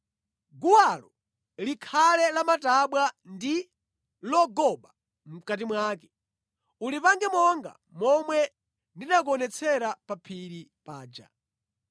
Guwalo likhale lamatabwa ndi logoba mʼkati mwake. Ulipange monga momwe ndinakuonetsera pa phiri paja.